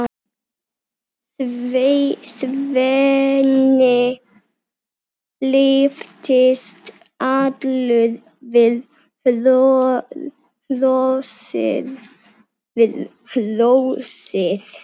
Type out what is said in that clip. Svenni lyftist allur við hrósið.